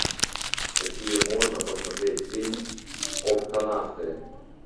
какие можно посмотреть фильм октонавты